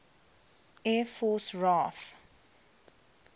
air force raaf